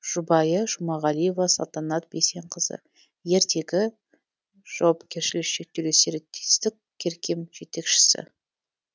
жұбайы жұмағалиева салтанат бейсенқызы ертегі жауапкершілігі шектеулі серіктестік керкем жетекшісі